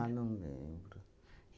Ah, não lembro.